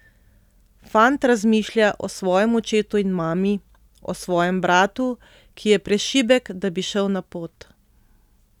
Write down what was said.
Fant razmišlja o svojem očetu in mami, o svojem bratu, ki je prešibek, da bi šel na pot.